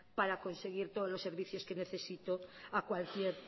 para conseguir todos los servicios que necesito a cualquier